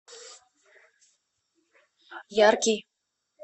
яркий